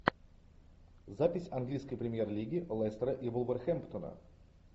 запись английской премьер лиги лестера и вулверхэмптона